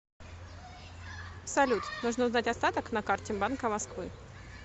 салют нужно узнать остаток на карте банка москвы